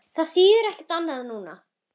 Það þýðir ekkert annað núna.